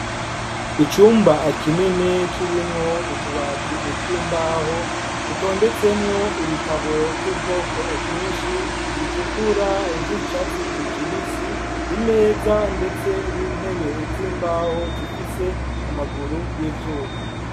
Icumba kinini kirimwo utubati tw'imbaho dutondetsemwo ibitabo vy'ubwoko bwinshi bitukura ivy'icatsi kibisi, imeza ndetse n'intebe z'imbaho zifise amaguru y'ivyuma.